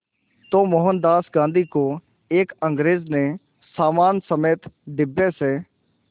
तो मोहनदास गांधी को एक अंग्रेज़ ने सामान समेत डिब्बे से